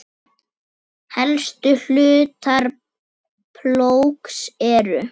Helstu hlutar plógs eru